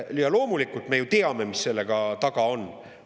Loomulikult me ju teame, mis selle taga on.